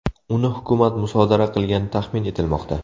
Uni hukumat musodara qilgani taxmin etilmoqda.